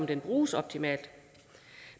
den bruges optimalt